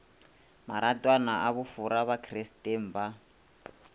maratwana a bofora bakristeng ba